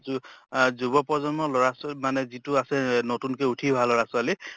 যু আহ যুৱ প্ৰজন্মৰ লʼৰা ছো মানে যিটো আছে নতুন কে উঠি অহা লʼৰা ছোৱালী